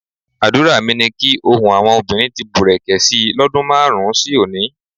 Àdúrà mi ni kí ohun àwọn obìnrin ti bùrẹ̀kẹ̀ si lọ́dún márùn-ún sí òní.